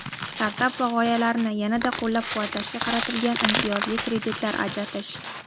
startap va g‘oyalarini yana-da qo‘llab-quvvatlashga qaratilgan imtiyozli kreditlar ajratish;.